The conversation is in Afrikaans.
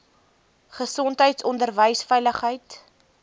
gesondheid onderwys veiligheid